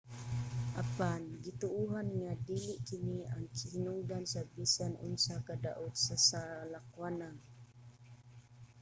apan gituohan nga dili kini ang hinungdan sa bisan unsang kadaot sa salakwanang